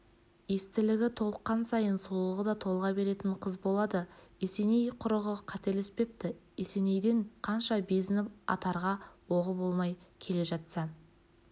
естілігі толыққан сайын сұлулығы да толыға беретін қыз болады есеней құрығы қателеспепті есенейден қанша безініп атарға оғы болмай келе жатса